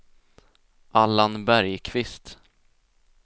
Allan Bergqvist